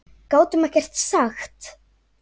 Gátum ekkert sagt.